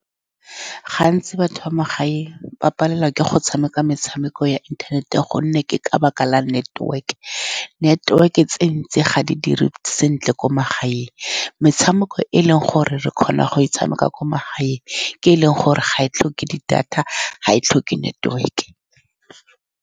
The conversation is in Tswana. Gantsi, batho magae ba palelwa ke go tshameka metshameko ya internet-e ka gonne ke ka lebaka la network-e. Network-e tse dintsi ga di dire sentle ko magaeng. Metshameko e e leng gore re kgona go e tshameka kwa magaeng ke e e leng gore ga e tlhoke di-data, ga e tlhoke network-e.